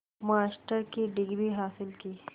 master की degree हासिल की